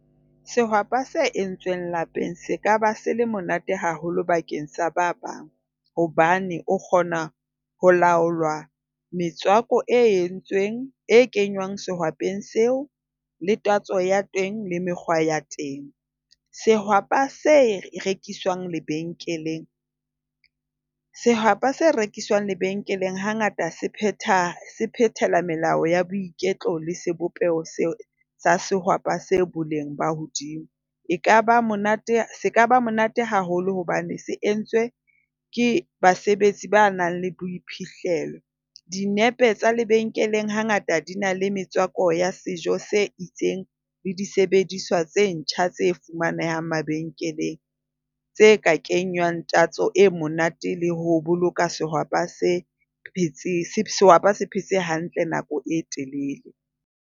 Sehwapa se entsweng lapeng se kaba se le monate haholo bakeng sa ba bang hobane o kgona ho laolwa metswako e entsweng e kenywang sehwapeng seo le tatso ya teng le mekgwa ya teng. Sehwapa se rekiswang lebenkeleng sehwapa se rekiswang lebenkeleng hangata se phetha se phethela melao ya boiketlo le sebopeho seo sa sehwapa se boleng bo hodimo. Ekaba monate sekaba monate haholo hobane se entswe ke basebetsi ba nang le boiphihlelo. Dinepe tsa lebenkeleng hangata di na le metswako ya sejo se itseng le disebediswa tse ntjha tse fumanehang mabenkeleng tse ka kenywang tatso e monate le ho boloka sehwapa se phetse hantle nako e telele.